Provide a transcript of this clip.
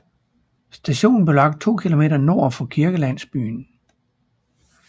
Stationen blev anlagt 2 km nord for kirkelandsbyen